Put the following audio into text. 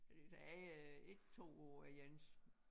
Der er ikke 2 år er ens